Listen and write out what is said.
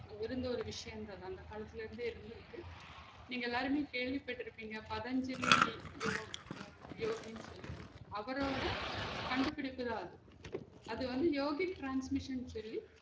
இருந்த ஒரு விசயந் சொன்னா அந்த காலத்துல இருந்தே இருந்து இருக்க நீங்க எல்லாருமே கேள்விப்பட்டு இருப்பிங்க பதஞ்சலி ஆஹ் ய்யோ~ ய்யோகினு சொல்லி அவரடோ கண்டு பிடிப்புதான் அது வந்து யோகித் transmission சொல்லி